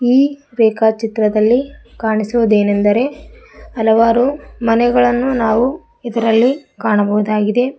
ಈ ರೇಖಾ ಚಿತ್ರದಲ್ಲಿ ಕಾಣಿಸುವುದೇನೆಂದರೆ ಹಲವಾರು ಮನೆಗಳನ್ನು ನಾವು ಇದರಲ್ಲಿ ಕಾಣಬಹುದಾಗಿದೆ.